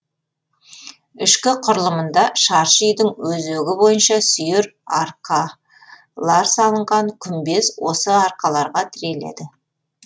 ішкі құрылымында шаршы үйдің өзегі бойынша сүйір арқалар салынған күмбез осы арқаларға тіреледі